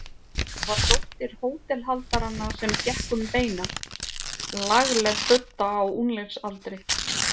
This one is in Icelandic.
Það var dóttir hótelhaldaranna sem gekk um beina, lagleg budda á unglingsaldri.